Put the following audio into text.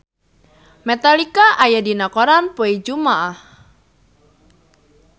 Metallica aya dina koran poe Jumaah